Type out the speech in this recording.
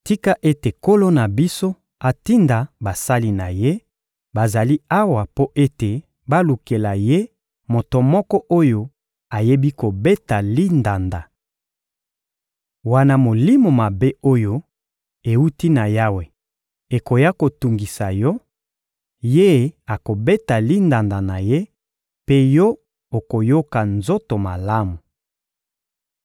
Tika ete nkolo na biso atinda basali na ye, oyo bazali awa mpo ete balukela ye moto moko oyo ayebi kobeta lindanda. Wana molimo mabe oyo ewuti na Yawe ekoya kotungisa yo, ye akobeta lindanda na ye, mpe yo okoyoka nzoto malamu.